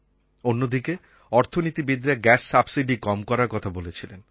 অন্যদিকে অর্থনীতিবিদ্রা gas subsidy কম করার কথা বলেছিলেন